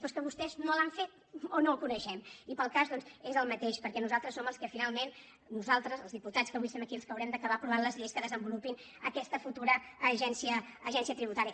però és que vostès no l’han fet o no el coneixem i per al cas doncs és el mateix perquè nosaltres som els que finalment nosaltres els diputats que avui som aquí els que haurem d’acabar aprovant les lleis que desenvolupin aquesta futura agència tributària